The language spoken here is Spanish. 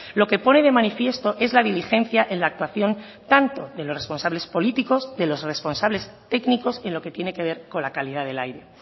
lo que pone de manifiesto es la diligencia en la actuación tanto de los responsables políticos de los responsables técnicos en lo que tiene que ver con la calidad del aire